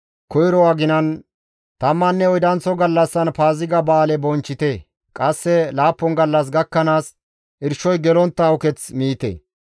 « ‹Koyro aginan, tammanne oydanththo gallassan Paaziga Ba7aale bonchchite; qasse laappun gallas gakkanaas irshoy gelontta uketh miite.